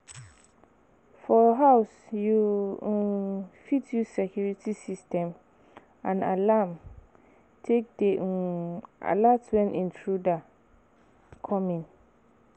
For house you um fit use security system and alarm take dey um alert when intruder come in